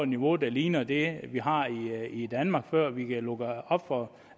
niveau der ligner det vi har i danmark før vi kan lukke op for